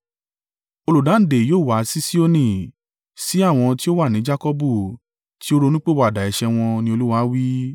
“Olùdáǹdè yóò wá sí Sioni, sí àwọn tí ó wà ní Jakọbu tí ó ronúpìwàdà ẹ̀ṣẹ̀ wọn,” ni Olúwa wí.